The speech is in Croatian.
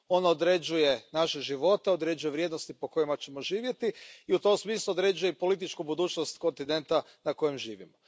Ono određuje naše živote, određuje vrijednosti po kojima ćemo živjeti i u tom smislu određuje političku budućnost kontinenta na kojem živimo.